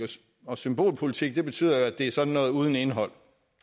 og symbolpolitik betyder jo at det er sådan noget uden indhold